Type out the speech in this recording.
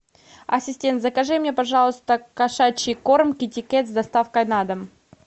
ассистент закажи мне пожалуйста кошачий корм китекет с доставкой на дом